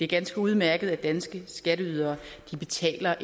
ganske udmærket at danske skatteydere betaler